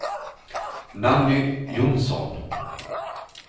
Nanny Jonsson